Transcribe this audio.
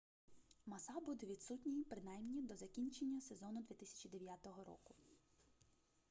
маса буде відсутній принаймні до закінчення сезону 2009 року